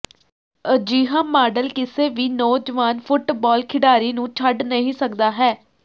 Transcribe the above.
ਅਜਿਹਾ ਮਾਡਲ ਕਿਸੇ ਵੀ ਨੌਜਵਾਨ ਫੁੱਟਬਾਲ ਖਿਡਾਰੀ ਨੂੰ ਛੱਡ ਨਹੀਂ ਸਕਦਾ ਹੈ